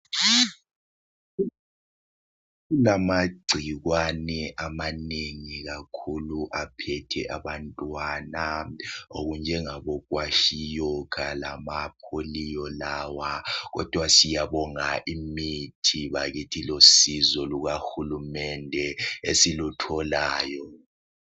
Kulamagcikwane amanengi kakhulu aphethe abantwana okunjengabo kwashiyokha lama pholiyo lawa kodwa siyabonga imithi bakithi losizo luka hulumende esilutholayo.